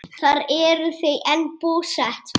Þar eru þau enn búsett.